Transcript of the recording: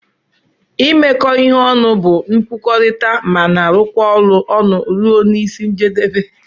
imekọ ihe ọnụ bu nkwukọrita mana alụkọ ọlụ ọnụ rụọ n'isi njedebe.